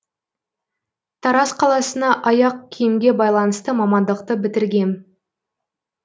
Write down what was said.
тараз қаласына аяқ киімге байланысты мамандықты бітіргем